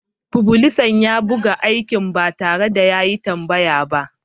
Fublisan ya buga aikin ba tare da yin tambaya ba.